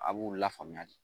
A b'u lafaamuya de